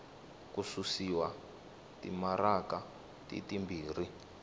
ku susiwa timaraka ti timbirhi